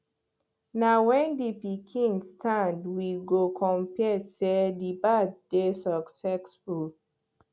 na when the pikin stand we go confirm say the birth dey succesful